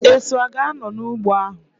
Esu a ga-anọ n'ụgbọ ahu?